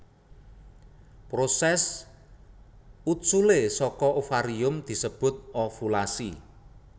Prosès uculé saka ovarium disebut ovulasi